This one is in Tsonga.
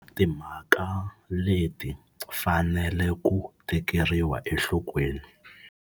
Timhaka leti fanele ku tekeriwa enhlokweni.